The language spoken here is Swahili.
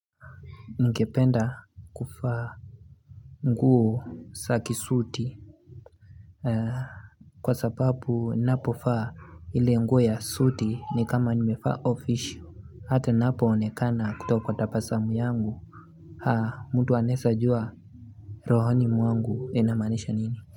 Ningependa kufaa nguo saki suti Kwa sababu napofaa ile nguo ya suti ni kama nimefaa offical Hata napo onekana kuto kwa tapasamu yangu Haa mtu anesa jua rohoni mwangu enamanisha nini.